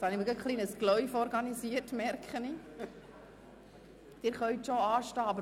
Ich stelle soeben fest, dass ich mit meiner vorigen Aussage einen Grossaufmarsch ausgelöst habe.